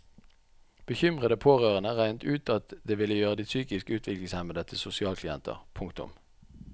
Bekymrede pårørende regnet ut at det ville gjøre de psykisk utviklingshemmede til sosialklienter. punktum